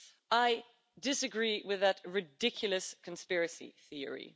I disagree with that ridiculous conspiracy theory.